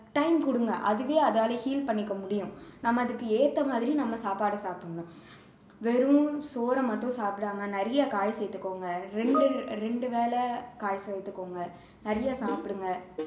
time கொடுங்க அதுவே அதால heal பண்ணிக்க முடியும் நம்ம அதுக்கு ஏத்த மாதிரி நம்ம சாப்பாடு சாப்பிடணும் வெறும் சோறை மட்டும் சாப்பிடாம நிறைய காய் சேத்துகோங்க ரெண்டு ரெண்டு வேளை காய் சேர்த்துகோங்க நிறைய சாப்பிடுங்க